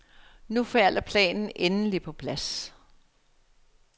Nu falder planen endeligt på plads.